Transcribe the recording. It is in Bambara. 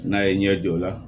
N'a ye ɲɛ jɔ o la